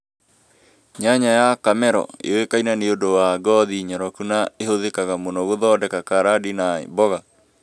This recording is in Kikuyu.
Nyanya ya Kamero yũĩkaine nĩ ũndũ wa ngothi nyoroku na ĩhuthĩkaga mũno gũthondeka carandi na mboga